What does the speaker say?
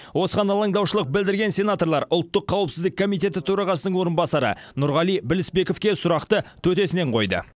осыған алаңдаушылық білдірген сенаторлар ұлттық қауіпсіздік комитеті төрағасының орынбасары нұрғали білісбековке сұрақты төтесінен қойды